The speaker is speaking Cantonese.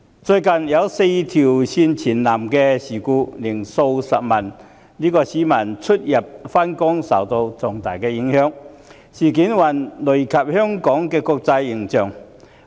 最近"四線全倒"的事故令數十萬名市民在出行及上下班時受到重大影響，累及香港的國際形象。